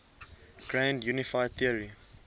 grand unified theory